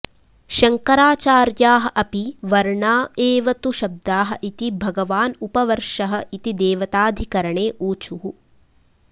शङ्कराचार्याः अपि वर्णा एव तु शब्दाः इति भगवान् उपवर्षः इति देवताधिकरणे ऊचुः